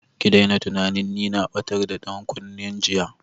Ki daina tunanin ni na batar da dankunne jiya!